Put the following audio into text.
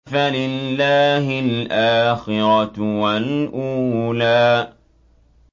فَلِلَّهِ الْآخِرَةُ وَالْأُولَىٰ